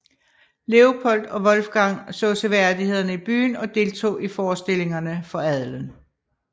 Leopold og Wolfgang så seværdighederne i byen og deltog i forestillinger for adelen